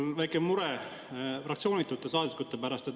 Mul on väike mure fraktsioonitute saadikute pärast.